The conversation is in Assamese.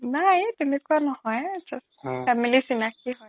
নাই তেনেকুৱা নহয় just family ৰ চিনাকি হয়